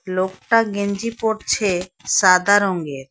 লোকটা গেঞ্জি পরছে সাদা রঙের।